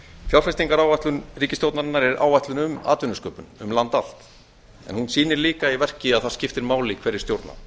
fjárfestingaráætlun ríkisstjórnarinnar er áætlun um atvinnusköpun um land allt en hún sýnir líka í verki að það skiptir máli hverjir stjórna